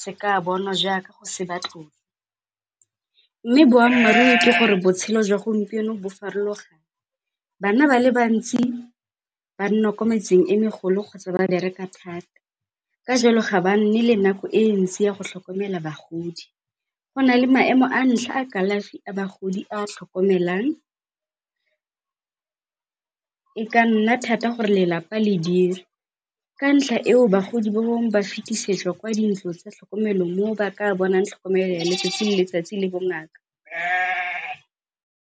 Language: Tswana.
se ka bonwa jaaka go se mme boammaaruri ke gore botshelo jwa gompieno bo farologane. Bana ba le bantsi ba nna kwa metseng e megolo kgotsa ba bereka . Ka jalo ga ba nne le nako e ntsi ya go tlhokomela bagodi, go na le maemo a ntlha a kalafi a bagodi a tlhokomelang. E ka nna thata gore lelapa le ka ntlha eo bagodi ba bangwe ba fetisetswa kwa dintlong tsa tlhokomelo foo ba ka bonang tlhokomelo ya letsatsi le letsatsi le bongaka.